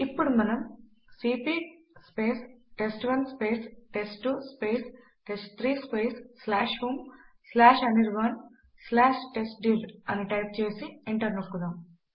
ఇప్పుడు మనము CP test one test two test three homeanirbantestdir అని టైప్ చేసి ఎంటర్ నొక్కుదాం